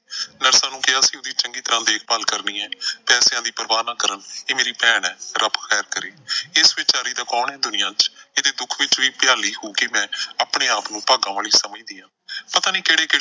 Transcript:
ਨਰਸਾਂ ਨੂੰ ਕਿਹਾ ਸੀ ਉਹਦੀ ਚੰਗੀ ਤਰ੍ਹਾਂ ਦੇਖਭਾਲ ਕਰਨੀ ਐ। ਪੈਸਿਆਂ ਦੀ ਪਰਵਾਹ ਕਰਨ। ਇਹ ਮੇਰੀ ਭੈਣ ਐ, ਰੱਬ ਖੈਰ ਕਰੇ, ਇਸ ਵੀਚਾਰੀ ਦਾ ਕੌਣ ਐ ਦੁਨੀਆਂ ਚ? ਇਹਦੇ ਦੁੱਖ ਵਿੱਚ ਵੀ ਭਿਆਲੀ ਹੋ ਕੇ ਮੈਂਆਪਣੇ ਆਪ ਨੂੰ ਭਾਗਾਂ ਵਾਲੀ ਸਮਝਦੀ ਆਂ। ਪਤਾ ਨਈਂ ਕਿਹੜੇ,